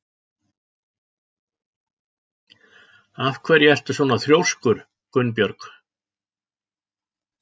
Af hverju ertu svona þrjóskur, Gunnbjörg?